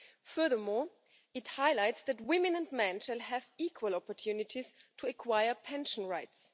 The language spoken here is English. Furthermore, it highlights that women and men shall have equal opportunities to acquire pension rights.